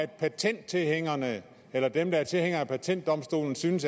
patenttilhængerne eller dem der er tilhængere af patentdomstolen synes